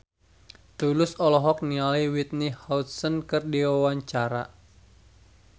Tulus olohok ningali Whitney Houston keur diwawancara